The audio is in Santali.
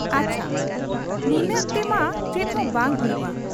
ᱟᱪᱷᱟ ᱱᱤᱱᱟᱟᱹᱜ ᱛᱮᱢᱟ ᱪᱮᱫᱦᱚᱸ ᱵᱟᱩ ᱦᱩᱭᱩᱜ ᱟ ᱾